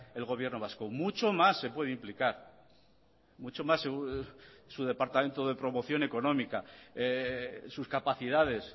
el gobierno vasco mucho más se puede implicar mucho más su departamento de promoción económica sus capacidades